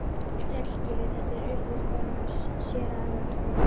Sæll, Gylfi, þetta er Urður, konan hans séra Aðal steins.